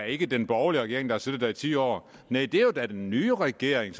ikke den borgerlige regering der har siddet der i ti år næh det er da den nye regering